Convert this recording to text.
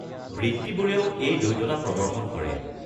বৃত্তিবোৰেও এই দ্বৈততা প্ৰদৰ্শন কৰে।